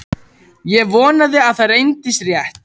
Ég vonaði að það reyndist rétt.